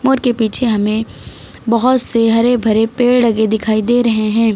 मोर के पीछे हमे बहोत से हरे भरे पेड़ लगे दिखाई दे रहे हैं।